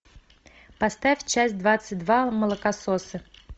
поставь часть двадцать два молокососы